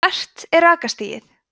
hvert er rakastigið